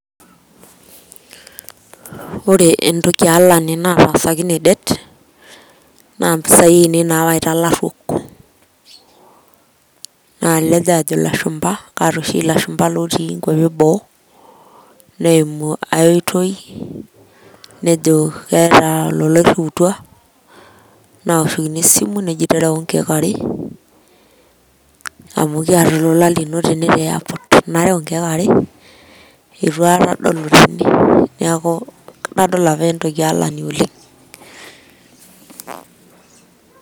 Ore entoki alani natasakine det naa mpisai ainei nawaita ilaruok, nalej ajo ilashumpa, kaata oshi ilashumpa lotii inkwapi eboo, neimu ae oitoi, nejo keeta olola oiriutwa, naoshokini esimu neji tereu inkeek are amu kiata olola lino tene te port. Nareu inkeek are, itu aekata adol otene, niaku nadol apa entoki alani oleng'.